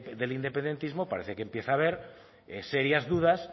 del independentismo parece que empieza a ver serias dudas